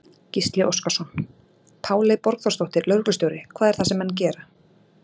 Gísli Óskarsson: Páley Borgþórsdóttir, lögreglustjóri, hvað er það sem menn gera?